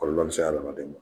Kɔlɔlɔ be se adamaden ma.